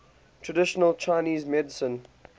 traditional chinese medicine